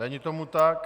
Není tomu tak.